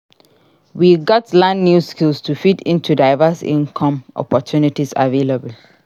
We gats learn new skills to fit into diverse income opportunities available.